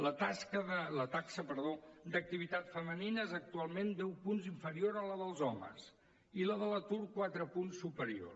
la taxa d’activitat femenina és actualment deu punts inferior a la dels homes i la de l’atur quatre punts superior